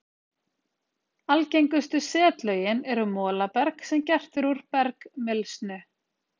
Algengustu setlögin eru molaberg sem gert er úr bergmylsnu.